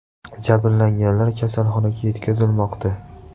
Jabrlanganlar kasalxonaga yetkazilmoqda.